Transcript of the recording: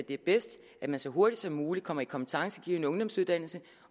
det er bedst at man så hurtigt som muligt kommer i en kompetencegivende ungdomsuddannelse